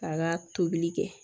K'a ka tobili kɛ